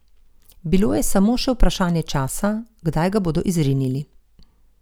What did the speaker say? Bilo je samo še vprašanje časa, kdaj ga bodo izrinili.